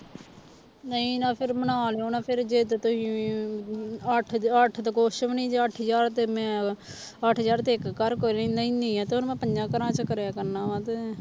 ਨਹੀਂ ਨਾ ਫਿਰ ਮਨਾ ਲਇਓ ਨਾ ਫਿਰ ਜੇ ਤਾਂ ਤੁਸੀਂ ਅੱਠ ਅੱਠ ਤੇ ਕੁਛ ਵੀ ਨੀ ਜੇ ਅੱਠ ਹਜ਼ਾਰ ਤੇ ਮੈਂ ਅੱਠ ਹਜ਼ਾਰ ਤੇ ਇੱਕ ਘਰ ਕੋਲੋਂ ਲੈਨੀ ਹੈ ਤੇ ਉਰੇ ਮੈਂ ਪੰਜਾਂ ਘਰਾਂ ਚ ਕਰਿਆ ਕਰਨਾ ਵਾਂ ਤੇ